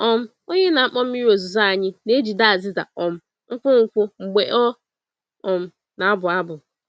um Onye na-akpọ mmiri ozuzo anyị na-ejide azịza um nkwụ nkwụ mgbe ọ um na-abụ abụ.